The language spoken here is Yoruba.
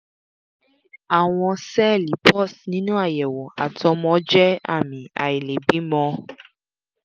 ṣé àwọn sẹẹli pus nínú àyẹ̀wò àtọ́mọ́ jẹ́ ààmì àìlèbímọ́?